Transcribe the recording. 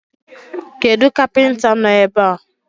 Kedu kapinta no ebe?